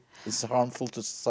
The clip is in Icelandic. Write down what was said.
eins og þú segir